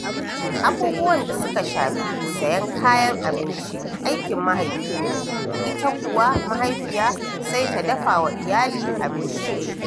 Abubuwan da suka shafi sayen kayan abinci aikin mahaifi ne, ita kuwa mahaifiya sai ta dafa wa iyali abinci.